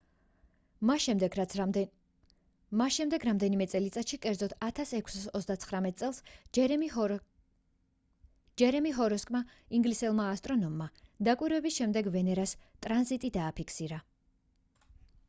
მას შემდეგ რამდენიმე წელიწადში კერძოდ 1639 წელს ჯერემი ჰოროკსმა ინგლისელმა ასტრონომმა დაკვირვების შედეგად ვენერას ტრანზიტი დააფიქსირა